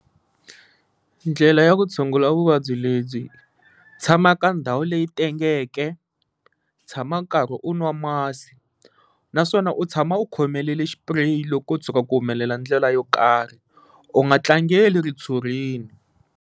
Ndlela ya ku tshungula vuvabyi lebyi tshama ka ndhawu leyi tengeke, tshama karhi u nwa masi naswona u tshama u khomelele xipureyi loko ko tshuka ku humelela ndlela yo karhi u nga tlangela ritshurini.